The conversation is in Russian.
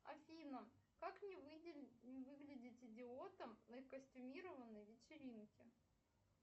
афина как не выглядеть идиотом на костюмированной вечеринке